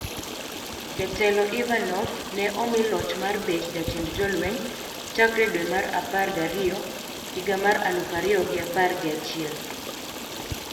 Jatelo Ivanov ne omi loch mar bet jatend jolweny chakre dwe mar apar gi ariyo higa mar aluf ariyo gi apar gi achiel.